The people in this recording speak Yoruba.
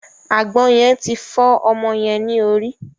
Àgbọn yen ti fọ ọmọ yẹn ni orí.